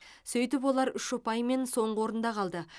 сөйтіп олар үш ұпаймен соңғы орында қалды